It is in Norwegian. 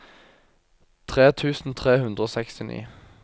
tre tusen tre hundre og sekstini